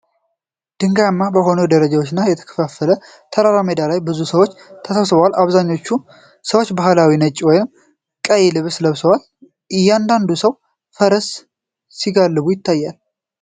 ድንጋያማ በሆኑ ደረጃዎች በተከፋፈለ ተራራማ ሜዳ ላይ ብዙ ሰዎች ተሰብስበዋል። አብዛኞቹ ሰዎች ባህላዊ ነጭ ወይም ቀይ ልብስ ለብሰዋል። አንዳንድ ሰዎች ፈረስ ሲጋልቡ ይታያል።